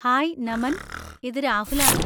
Hi, Naman! ഇത് രാഹുലാണ്!